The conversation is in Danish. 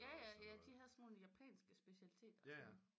Jaja det havde sådan nogle japanske specialiteter